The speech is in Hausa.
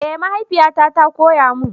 Eh mahaifiyata ta koya mun.